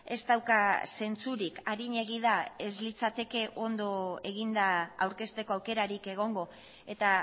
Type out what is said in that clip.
ez dauka zentzurik arinegi da ez litzateke ondo eginda aurkezteko aukerarik egongo eta